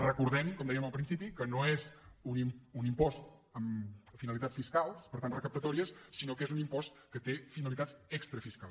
recordem com dèiem al principi que no és un impost amb finalitats fiscals per tant recaptatòries sinó que és un impost que té finalitats extrafiscals